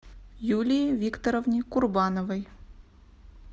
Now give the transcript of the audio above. юлии викторовне курбановой